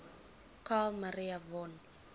carl maria von